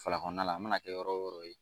Fala kɔnɔna la a mana kɛ yɔrɔ o yɔrɔ ye.